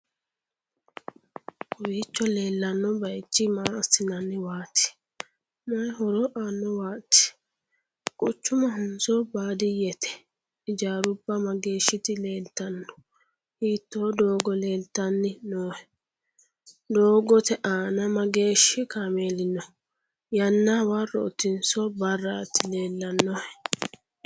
kowiicho leellanno bayichi maa assinaniwaati? may horo aannowaati? quchumahonso baadiyyete? ijaarubba mageehshsiti leeltannohe? hiitto doogo leeltanni noohe? doogote aana mageeshshi kaameeli no?yannana hawarrotinso barraat leellannohe?